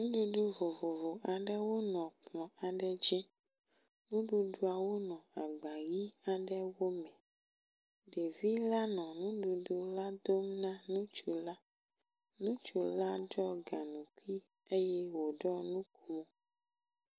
Nuɖuɖu vovovo aɖewo nɔ kplɔ̃ aɖe dzi, nuɖuɖuawo nɔ agba ʋi aɖewo me, ɖevi la nɔ nuɖuɖu la dom na nutsu la. Nutsu la ɖɔ gaŋkui eye wòɖɔ nu ko.